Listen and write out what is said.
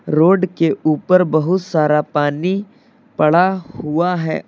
Road के ऊपर बहुत सारा पानी पड़ा हुआ है।